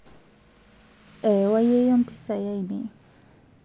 ewaa yiyio mpisai ainei